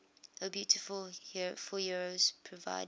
o beautiful for heroes proved